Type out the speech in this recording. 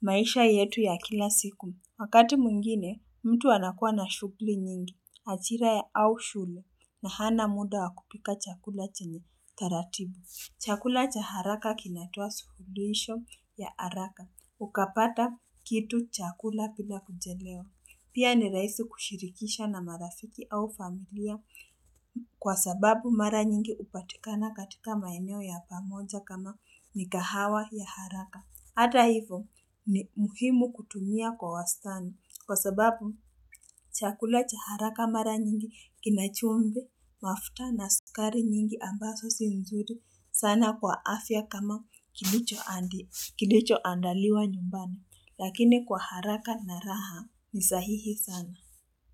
maisha yetu ya kila siku wakati mwengine mtu anakua na shughuli nyingi achira ya au shule na hana muda wa kupika chakula chenye taratibu Chakula cha haraka kinatoa suluhisho ya haraka. Ukapata kitu chakula pila kuchelewa. Pia ni raisi kushirikisha na marafiki au familia kwa sababu mara nyingi upatikana katika maeneo ya pamoja kama mikahawa ya haraka. Hata hivo ni muhimu kutumia kwa wastani. Kwa sababu chakula cha haraka mara nyingi kina chumvi, mafuta na sukari nyingi ambazo si nzuri sana kwa afya kama kilichoandaliwa nyumbani lakini kwa haraka na raha ni sahihi sana.